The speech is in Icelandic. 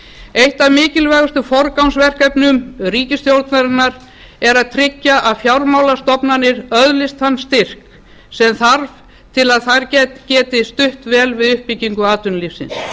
eitt af mikilvægustu forgangsverkefnum ríkisstjórnarinnar er að tryggja að fjármálastofnanir öðlist þann styrk sem þarf til að þær geti stutt vel við uppbyggingu atvinnulífsins